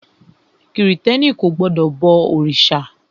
Krìstẹ́ni kò gbọdọ̀ bọ òrìṣà.